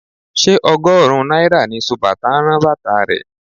Ṣé ọgọ́rùn-ún náírà ni sobàtà ń rán bàtà rẹ?